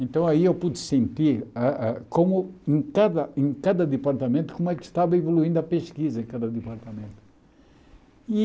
Então aí eu pude sentir ah ah como em cada em cada departamento, como é que estava evoluindo a pesquisa em cada departamento.